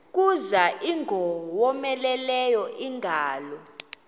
kuza ingowomeleleyo ingalo